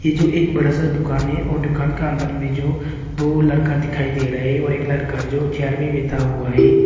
ये जो एक बड़ा सा दुकान है और दुकान का अंदर में जो दो लड़का दिखाई दे रहा हैं और एक लड़का जो चेयर में बैठा हुआ है।